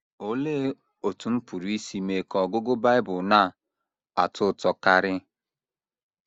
Olee Otú M Pụrụ Isi Mee Ka Ọgụgụ Bible Na - atọ Ụtọ Karị?